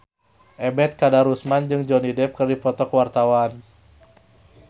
Ebet Kadarusman jeung Johnny Depp keur dipoto ku wartawan